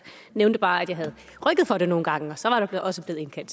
nævnte bare at jeg havde rykket for det nogle gange og så var der også blevet indkaldt